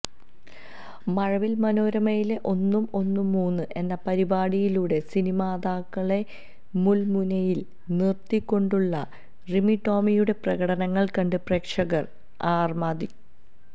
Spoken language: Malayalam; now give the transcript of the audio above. മഴവിൽ മനോരമയിലെ ഒന്നും ഒന്നും മൂന്ന് എന്ന പരിപാടിയിലൂടെ സിനിമാതാരങ്ങളെ മുൾമുനയിൽ നിർത്തിക്കൊണ്ടുള്ള റിമിടോമിയുടെ പ്രകടനങ്ങൾ കണ്ട് പ്രേക്ഷകർ അ